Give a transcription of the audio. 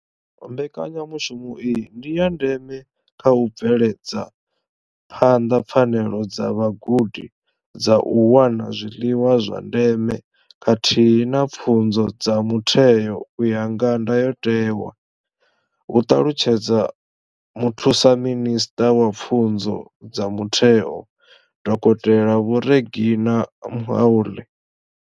Mbekanya mushumo iyi ndi ya ndeme kha u bveledza phanḓa pfanelo dza vhagudi dza u wana zwiḽiwa zwa ndeme khathihi na pfunzo ya mutheo u ya nga ndayotewa, hu ṱalutshedza Muthusaminisṱa wa Pfunzo dza Mutheo, Dokotela Vho Reginah Mhaule.